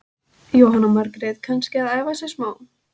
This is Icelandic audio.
Jóhanna Margrét: Kannski að æfa sig smá?